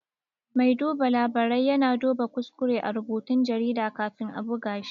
Mai duba labarai ya na duba kuskure a rubutun jarida kafin a buga shi